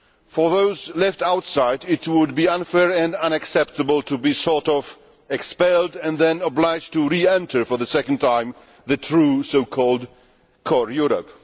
For those left outside, it would be unfair and unacceptable to be sort of' expelled and then obliged to re enter, for the second time, the true, so called core Europe.